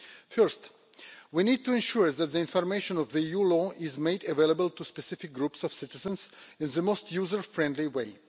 First, we need to ensure that information on EU law is made available to specific groups of citizens in the most user-friendly way.